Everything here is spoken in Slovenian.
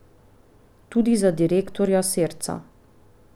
Tudi za direktorja Serca.